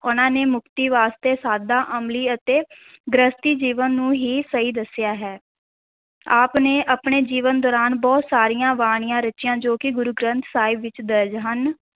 ਉਨ੍ਹਾਂ ਨੇ ਮੁਕਤੀ ਵਾਸਤੇ ਸਾਦਾ, ਅਮਲੀ ਅਤੇ ਗ੍ਰਹਿਸਥੀ ਜੀਵਨ ਨੂੰ ਹੀ ਸਹੀ ਦੱਸਿਆ ਹੈ, ਆਪ ਨੇ ਆਪਣੇ ਜੀਵਨ ਦੌਰਾਨ ਬਹੁਤ ਸਾਰੀਆਂ ਬਾਣੀਆਂ ਰਚੀਆਂ ਜੋ ਕਿ ਗੁਰੂ ਗ੍ਰੰਥ ਸਾਹਿਬ ਵਿੱਚ ਦਰਜ ਹਨ।